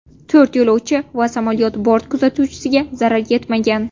To‘rt yo‘lovchi va samolyot bort kuzatuvchisiga zarar yetmagan.